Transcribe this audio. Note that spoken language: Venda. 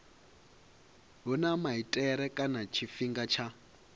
huna maitele kana tshifhinga tsha